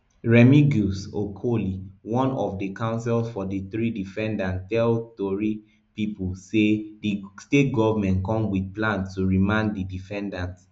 remigus okoli one of the counsels for for di three defendants tell tori pipo say di state goment come wit plan to remand di defendants